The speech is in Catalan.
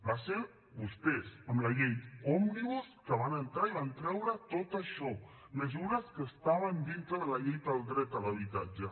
van ser vostès amb la llei òmnibus que van entrar i van treure tot això mesures que estaven dintre de la llei del dret a l’habitatge